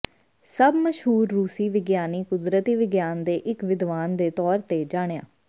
ਸਭ ਮਸ਼ਹੂਰ ਰੂਸੀ ਵਿਗਿਆਨੀ ਕੁਦਰਤੀ ਵਿਗਿਆਨ ਦੇ ਇਕ ਵਿਦਵਾਨ ਦੇ ਤੌਰ ਤੇ ਜਾਣਿਆ